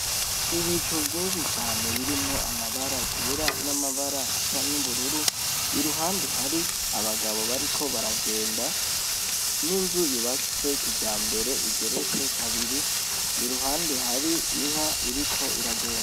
Ibicu vyinshi cane birimwo amabara yera n'amabara hasa n'ubururu iruhande hari abagabo bariko baragenda n'inzuyu bakitsweki ja mbere igeretse kabiri iruhande hari inka iriko iragenda.